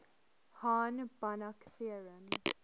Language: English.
hahn banach theorem